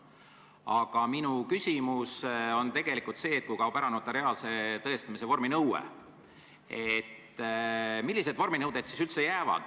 Aga minu küsimus on tegelikult see, et kui kaob ära notariaalse tõestamise vorminõue, siis millised vorminõuded üldse jäävad.